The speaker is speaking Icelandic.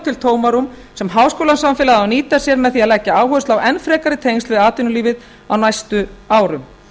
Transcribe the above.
til tómarúm sem háskólasamfélagið á að nýta sér með því að leggja áherslu á enn frekari tengsl við atvinnulífið á næstu árum